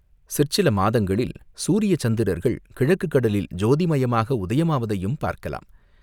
சிற்சில மாதங்களில் சூரிய சந்திரர்கள் கிழக்குக் கடலில் ஜோதிமயமாக உதயமாவதையும் பார்க்கலாம்.